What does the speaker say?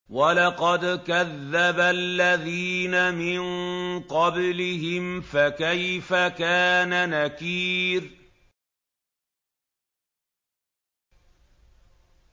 وَلَقَدْ كَذَّبَ الَّذِينَ مِن قَبْلِهِمْ فَكَيْفَ كَانَ نَكِيرِ